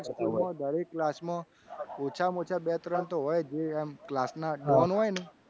હા દરેક school માં દરેક class માં ઓછામાં ઓછા બે ત્રણ તો હોય જ જે આમ class ના don હોય ને